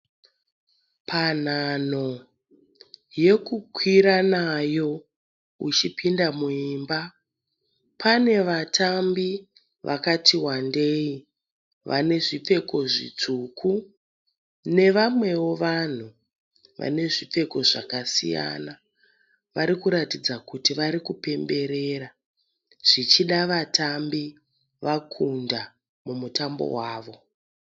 Panhanho yokukwira nayo uchipinda muimba pane vatambi vakati wandeyi vane zvipfeko zvitsvuku nevamwewo vanhu vane zvipfeko zvakasiyana. Vari kuratidza kuti vari kupemberera. Zvichida vatambi vakunda mumtambo wavo.